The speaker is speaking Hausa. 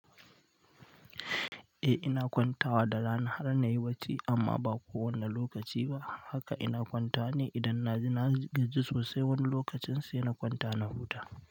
Eh ina kwanta wa da rana har na yi bacci amma ba kowane lokaci ba. Haka ina kwantawa ne idan naji na gaji sosai wani lokacin sai na kwanta na huta.